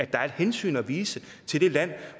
der er et hensyn at vise til det land